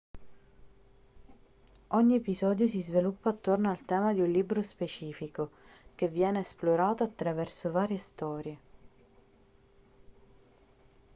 ogni episodio si sviluppa attorno al tema di un libro specifico che viene esplorato attraverso varie storie